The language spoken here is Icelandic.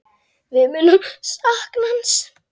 Við munum sakna hans.